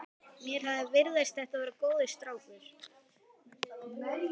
Mér hafði virst þetta vera góður strákur.